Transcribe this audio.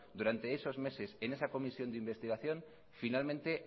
durante esos meses en esa comisión de investigación finalmente